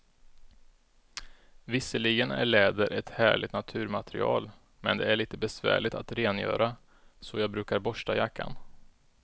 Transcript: Visserligen är läder ett härligt naturmaterial, men det är lite besvärligt att rengöra, så jag brukar borsta jackan.